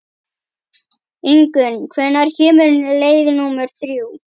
Ingunn, hvenær kemur leið númer þrjú?